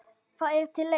Það er til enn.